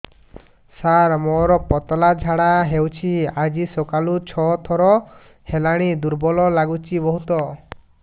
ସାର ମୋର ପତଳା ଝାଡା ହେଉଛି ଆଜି ସକାଳୁ ଛଅ ଥର ହେଲାଣି ଦୁର୍ବଳ ଲାଗୁଚି ବହୁତ